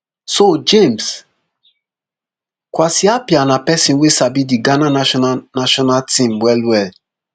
so james kwasi appiah na pesin wey sabi di ghana national national team well well